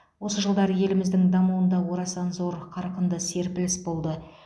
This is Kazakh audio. осы жылдары еліміздің дамуында орасан зор қарқынды серпіліс болды